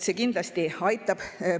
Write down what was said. See kindlasti aitab.